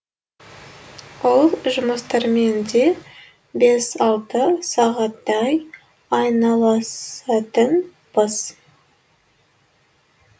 ол жұмыстармен де бес алты сағаттай айналысатынбыз